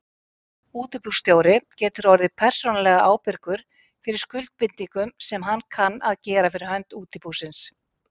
Útibússtjóri getur orðið persónulega ábyrgur fyrir skuldbindingum sem hann kann að gera fyrir hönd útibúsins.